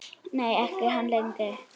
Nei, ekki hann Helgi.